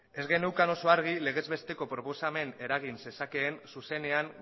ez geneukan oso argi legez besteko proposamena eragin zezakeen zuzenean